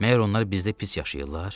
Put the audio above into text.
Məgər onlar bizdə pis yaşayırlar?